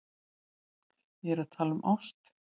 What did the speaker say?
Ég er að tala um ást.